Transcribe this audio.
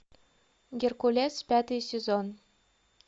геркулес пятый сезон